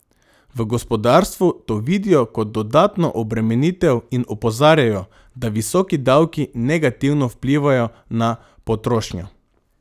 V gospodarstvu to vidijo kot dodatno obremenitev in opozarjajo, da visoki davki negativno vplivajo na potrošnjo.